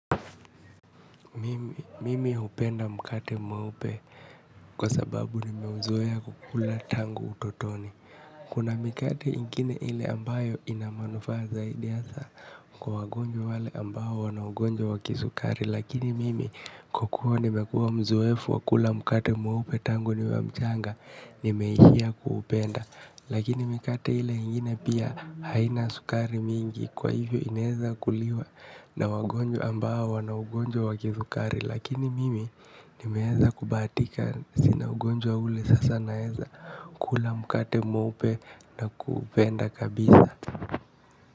Mimi hupenda mkate mweupe kwa sababu ni meuzoea kukula tangu utotoni. Kuna mikate ingine ile ambayo inamanufaa zaidi ya saa. Kwa wagonjwa wale ambao wanaugonjwa waki sukari. Lakini mimi kwakua ni mekua mzoefu wakula mkate maupe tangu ni wa mchanga ni meihia kuupenda. Lakini mikate ile ingine pia haina sukari mingi. Kwa hivyo ineza kuliwa na wagonjwa ambao na ugonjwa wakithukari. Lakini mimi nimeeza kubahatika sina ugonjwa ule sasa naeza kula mkate mweupe na kuupenda kabisa.